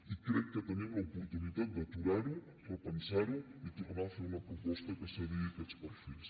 i crec que tenim l’oportunitat d’aturar ho repensar ho i tornar a fer una proposta que s’adigui a aquests perfils